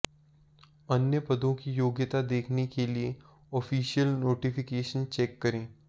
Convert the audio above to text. अन्य पदों की योग्यता देखने के लिए ऑफिशियल नोटिफिकेशन चेक करें